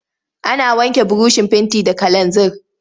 Ana wanke burushin fenti da kalanzir.